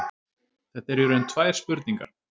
Þetta eru í raun tvær spurningar.